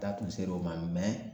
Da kun ser'o ma mɛ